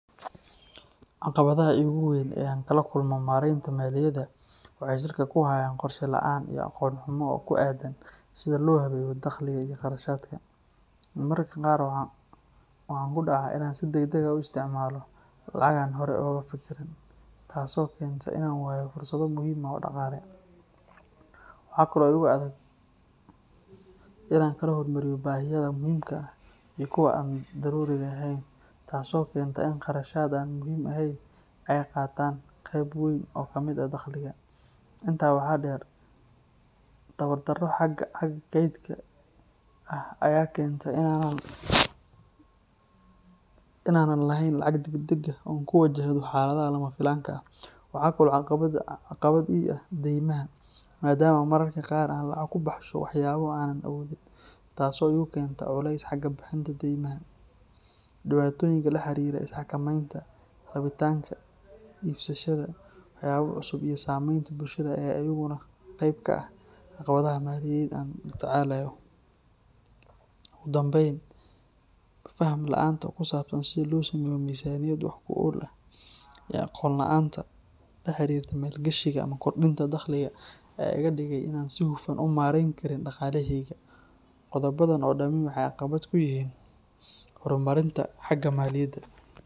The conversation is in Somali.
Caqabadaha iigu waaweyn ee aan kala kulmo maareynta maaliyadda waxay salka ku hayaan qorshe la’aan iyo aqoon xumo ku aaddan sida loo habeeyo dakhliga iyo kharashaadka. Mararka qaar waxaan ku dhacaa in aan si degdeg ah u isticmaalo lacag aanan horey uga fikirin, taasoo keenta in aan waayo fursado muhiim ah oo dhaqaale. Waxaa kale oo igu adag in aan kala hormariyo baahiyaha muhiimka ah iyo kuwa aan daruuriga ahayn, taasoo keenta in kharashaad aan muhiim ahayn ay qaataan qayb weyn oo ka mid ah dakhliga. Intaa waxaa dheer, tabar darro xagga kaydka ah ayaa keenta in aanan lahayn lacag degdeg ah oo aan ku wajahdo xaaladaha lama filaanka ah. Waxaa kale oo caqabad ii ah deymaha, maadaama mararka qaar aan lacag ku baxsho waxyaabo aanan awoodin, taasoo igu keenta culays xagga bixinta daymaha. Dhibaatooyinka la xiriira isxakamaynta, rabitaanka iibsashada waxyaabo cusub iyo saameynta bulshada ayaa iyaguna qayb ka ah caqabadaha maaliyadeed ee aan la tacaalayo. Ugu dambeyn, faham la’aanta ku saabsan sida loo sameeyo miisaaniyad wax ku ool ah iyo aqoon la’aanta la xiriirta maalgashiga ama kordhinta dakhliga ayaa iga dhigaya in aanan si hufan u maarayn karin dhaqaalahayga. Qodobadan oo dhami waxay caqabad ku yihiin horumarinta xagga maaliyadda.